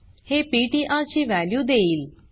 हे पीटीआर ची वॅल्यू देईल